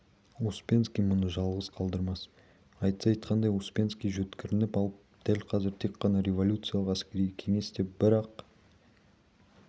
успенский мұны жалғыз қалдырмас айтса айтқандай успенский жөткірініп алып дәл қазір тек қана революциялық әскери кеңес деп бір-ақ